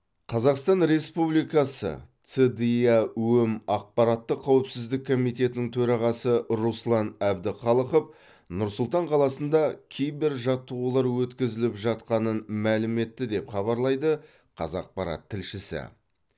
қазақстан республикасы цдиаөм ақпараттық қауіпсіздік комитетінің төрағасы руслан әбдіхалықов нұр сұлтан қаласында кибер жаттығулар өткізіліп жатқанын мәлім етті деп хабарлайды қазақпарат тілшісі